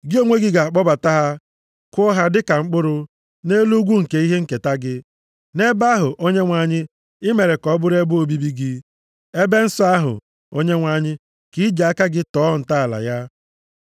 Gị onwe gị ga-akpọbata ha, kụọ ha dịka mkpụrụ, nʼelu ugwu nke ihe nketa gị. Nʼebe ahụ, Onyenwe anyị, i mere ka ọ bụrụ ebe obibi gị, ebe nsọ ahụ, Onyenwe anyị, nke i ji aka gị tọọ ntọala ya.